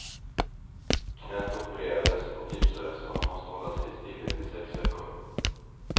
Knät opererades och gipsades och han måste hålla sig i stillhet i sex veckor.